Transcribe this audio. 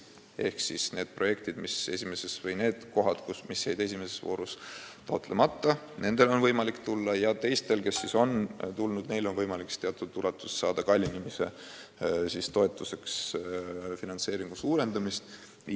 Eesmärk on, et need kohad, mis jäid esimeses voorus välja, taotleksid samuti toetust, ja et teised, kes on juba osalenud, taotleksid ehituse kallinemise katmiseks teatud ulatuses finantseeringu suurendamist.